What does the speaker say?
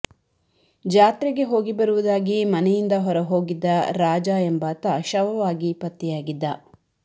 ಜಾತ್ರೆಗೆ ಹೋಗಿ ಬರುವುದಾಗಿ ಮನೆಯಿಂದ ಹೊರ ಹೋಗಿದ್ದ ರಾಜ ಎಂಬಾತ ಶವವಾಗಿ ಪತ್ತೆಯಾಗಿದ್ದ